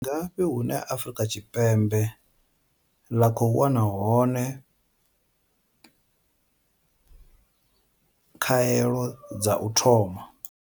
Ndi ngafhi hune Afrika Tshipembe ḽa khou wana hone khaelo dza u thoma?